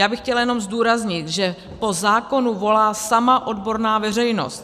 Já bych chtěla jenom zdůraznit, že po zákonu volá sama odborná veřejnost.